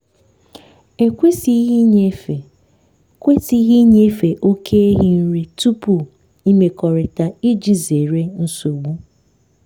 e kwesịghị ịnyefe kwesịghị ịnyefe oke ehi nri tupu imrkọrịta iji zere nsogbu.